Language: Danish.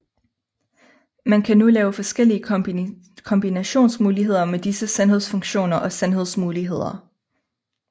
Man kan nu lave forskellige kombinationsmuligheder med disse sandhedsfunktioner og sandhedsmuligheder